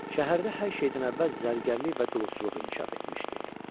Şəhərdə hər şeydən əvvəl zərgərlik və dulusçuluq inkişaf etmişdi.